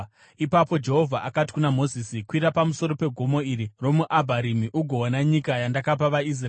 Ipapo Jehovha akati kuna Mozisi, “Kwira pamusoro pegomo iri romuAbharimi ugoona nyika yandakapa vaIsraeri.